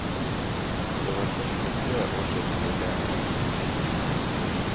Det var først for tre år siden det ble en egen utdannelse.